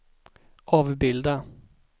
avbilda